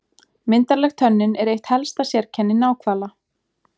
Myndarleg tönnin er eitt helsta sérkenni náhvala.